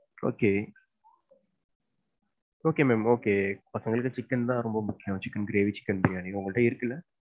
Okay Okay mam, okay பசங்களுக்கு chicken தான் ரொம்ப முக்கியம். Chicken gravy, chicken biryani. உங்கள்ட இருக்குல?